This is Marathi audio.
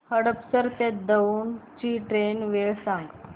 हडपसर ते दौंड ची ट्रेन वेळ सांग